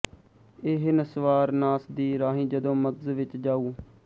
ਏਹ ਨਸਵਾਰ ਨਾਸ ਦੀ ਰਾਹੀਂ ਜਦੋਂ ਮਗਜ਼ ਵਿੱਚ ਜਾਊ